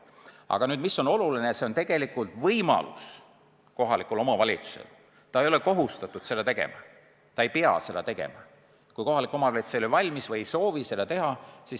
Aga mis on oluline: see on tegelikult võimalus, kohalik omavalitsus ei ole kohustatud seda tegema, ta ei pea seda tegema, kui ta ei ole selleks valmis või ta ei soovi seda teha.